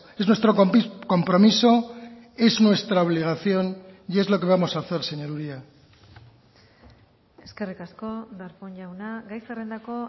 es nuestro compromiso es nuestra obligación y es lo que vamos a hacer señor uria eskerrik asko darpón jauna gai zerrendako